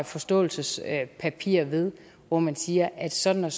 forståelsespapir ved hvor man siger at sådan